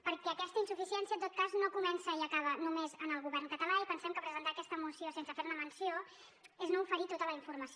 perquè aquesta insuficiència en tot cas no comença i acaba només en el govern català i pensem que presentar aquesta moció sense fer ne menció és no oferir tota la informació